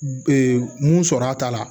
mun sɔrɔ a ta la